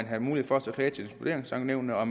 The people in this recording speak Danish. havde mulighed for at klage til vurderingsankenævnene og